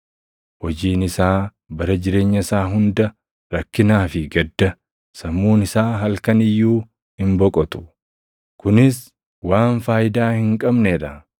Hojiin isaa bara jireenya isaa hunda rakkinaa fi gadda; sammuun isaa halkan iyyuu hin boqotu. Kunis waan faayidaa hin qabnee dha.